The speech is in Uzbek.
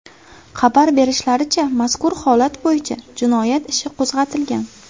Xabar berishlaricha, mazkur holat bo‘yicha jinoyat ishi qo‘zg‘atilgan.